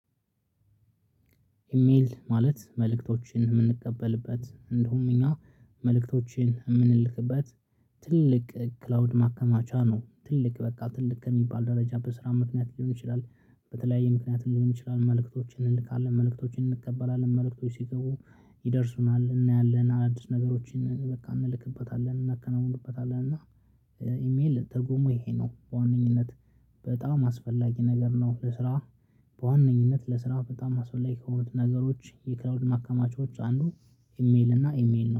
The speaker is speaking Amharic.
ኢሜል ማለት መልእክቶችን የምንቀበልበት እንደውም እኛ መልእክቶቺን የምንልክበት ትልቅ ክላውድ ማከማቻ ነው። ትልቅ በቃ ትልቅ ከሚባል ደረጃ በስራ ምክንያት ሊሆን ይችላል በተለያየ ምክንያት ሊሆን ይችላል። መልእክቶችን እንልካለን መልእክቶችን እንቀበላለን መልእክቶች ሲገቡ ይደርሱናል እናያለን አዲስ ነገሮችን በቃ እንልክበታለን እናከናውንበታለን። እና ኢሜል ትርጉሙ ይሄ ነው። በዋነኝነት በጣም አስፈላጊ ነገር ነው። እስራ በዋነኝነት ለስራ በጣም አስፈላጊ ከሆኑት ነገሮች የክላውድ ማከማቾች አንዱ ኢሜል እና ኢሜል ነው